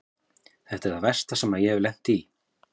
Þetta er það versta sem ég hef lent í.